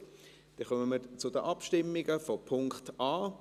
– Gut, dann kommen wir zu den Abstimmungen, zuerst zu Punkt a.